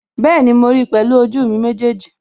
Bẹ́ẹ̀ni, mo ríi pẹ̀lú ojú mi méjèèjì